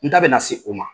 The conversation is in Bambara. N da bɛna se o ma